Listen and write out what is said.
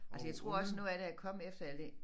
Altså jeg tror også noget af det er kommet efter al det